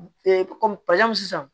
kɔmi pazin sisan